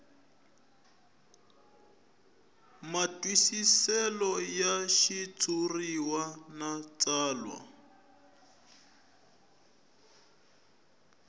matwisiselo ya xitshuriwa na tsalwa